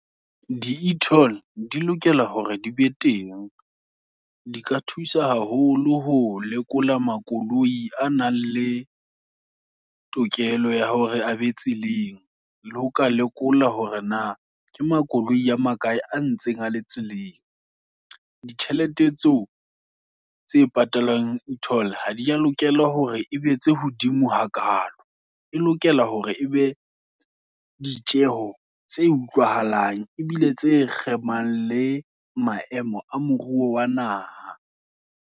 Di e-toll, di lokela hore di be teng, di ka thusa haholo, ho lekola makoloi a nang, le tokelo ya hore a be tseleng, le ho ka lekola hore na, ke makoloi a makae, a ntseng a le tseleng. Ditjhelete tseo, tse patalwang e-toll, ha di ya lokela hore, e be tse hodimo hakalo, e lokela hore e be ditjeho, tse utlwahalang, ebile tse kgemang, le maemo a moruo wa naha.